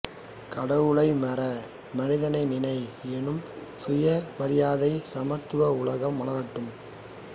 கடவுளை மற மனிதனை நினை என்னும் சுயமரியாதை சமத்துவ உலகம் மலரட்டும்